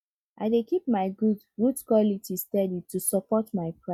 i dey keep my goods goods quality steady to support my price